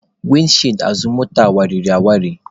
Windi chịịdi azụ moto a wariri awali.